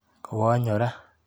Kowonyora.